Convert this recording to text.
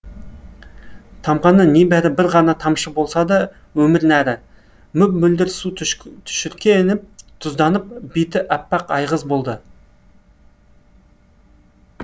тамғаны небәрі бір ғана тамшы болса да өмір нәрі мөп мөлдір су түшіркеніп тұзданып беті әппақ айғыз болды